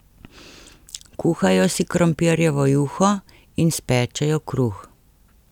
Kuhajo si krompirjevo juho in spečejo kruh.